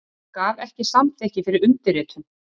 Gaf ekki samþykki fyrir undirritun